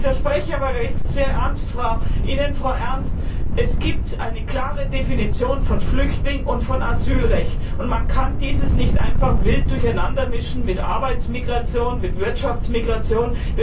Ich widerspreche aber Ihnen, Frau Ernst, es gibt eine klare Definition von Flüchtling und von Asylrecht, und man kann dies nicht einfach wild durcheinandermischen mit Arbeitsmigration, mit Wirtschaftsmigration.